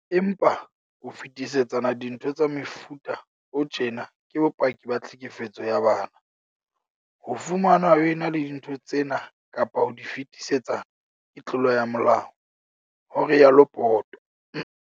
"Empa, ho fetisetsana dintho tsa mefuta o tjena ke bopaki ba tlhekefetso ya bana. Ho fumanwa o ena le dintho tsena kapa ho di fetisetsana ke tlolo ya molao," ho rialo Poto.